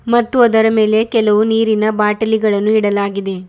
ಮತ್ತು ಅದರ ಮೇಲೆ ಕೆಲವು ನೀರಿನ ಬಾಟಲಿಗಳನ್ನು ಇಡಲಾಗಿದೆ.